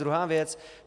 Druhá věc.